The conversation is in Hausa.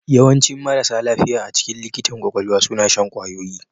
Yawancin marasa lafiya a cikin likitan kwakwalwa suna shan kwayoyi